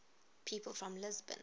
people from lisbon